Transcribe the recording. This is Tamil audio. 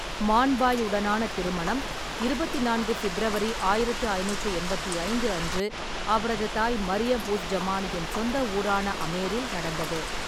மான் பாய் உடனான திருமணம் இருபத்தி நான்கு ஃ'பிப்ரவரி ஆயிரத்தி ஐநூற்றி எண்பத்தி ஐந்து அன்று அவரது தாய் மரியம்-உஸ்-ஜமானியின் சொந்த ஊரான அமேரில் நடந்தது.